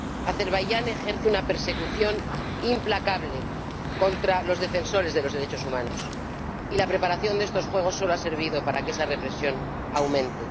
Azerbaiyán ejerce una persecución implacable contra los defensores de los derechos humanos y la preparación de estos Juegos solo ha servido para que esa represión aumente.